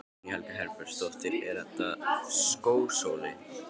Guðný Helga Herbertsdóttir: Er þetta skósóli?